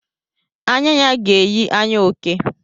Anya ya ga-eyi anya oke.